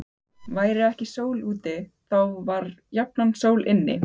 Væri ekki sól úti, þá var jafnan sól inni.